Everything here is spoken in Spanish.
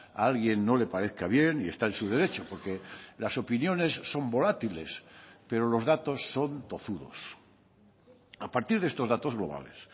a alguien no le parezca bien y está en su derecho porque las opiniones son volátiles pero los datos son tozudos a partir de estos datos globales